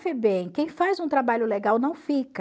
Febem, quem faz um trabalho legal não fica.